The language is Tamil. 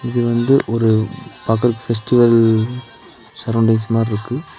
இது வந்து ஒரு பாக்க ஃபெஸ்டிவல் சரவுண்டிங்ஸ் மார்ருக்கு.